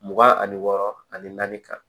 Mugan ani wɔɔrɔ ani naani kan